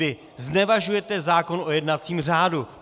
Vy znevažujete zákon o jednacím řádu.